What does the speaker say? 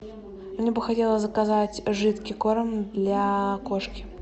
мне бы хотелось заказать жидкий корм для кошки